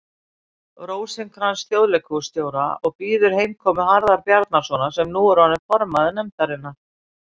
Rósinkranz þjóðleikhússtjóra og bíður heimkomu Harðar Bjarnasonar, sem nú er orðinn formaður nefndarinnar.